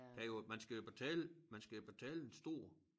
Det er jo at man skal jo betale man skal jo betale en stor